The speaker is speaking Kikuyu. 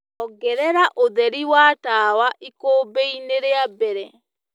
ongerera ũtherĩ wa tawa ikumbi ini ria mbere..